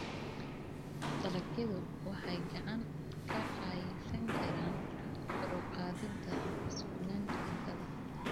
Dalagyadu waxay gacan ka geysan karaan kor u qaadida sugnaanta cuntada.